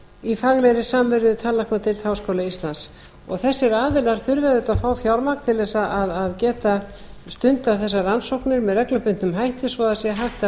í faglegri samvinnu við tannlæknadeild háskóla íslands þessir aðilar þurfa auðvitað að fá fjármagn til þess að geta stundað þessar rannsóknir með reglubundnum hætti svo það sé hægt að